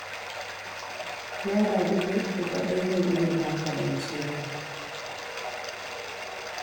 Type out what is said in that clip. Naira dubu uku kaɗai zan iya ba ka rance fa